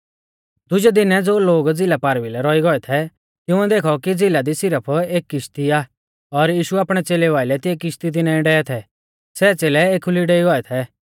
दुजै दिनै ज़ो लोग झ़िला पारभिलै रौई गौऐ थै तिंउऐ देखौ कि झ़िला दी सिरफ एका किश्ती आ और यीशु आपणै च़ेलेऊ आइलै तिंऐ किश्ती दी नाईं डेवै थै सै च़ेलै एखुली डेई गौऐ थै